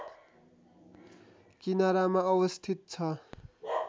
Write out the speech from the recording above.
किनारामा अवस्थित छ